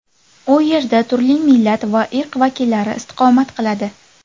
U yerda turli millat va irq vakillari istiqomat qiladi.